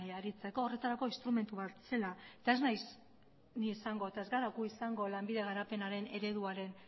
aritzeko horretarako instrumentu bat zela eta ez naiz ni izango eta ez gara gu izango lanbide garapenaren ereduaren